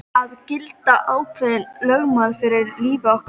Það gilda ákveðin lögmál í lífi okkar.